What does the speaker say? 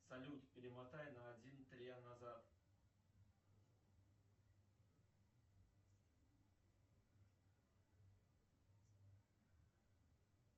салют перемотай на один назад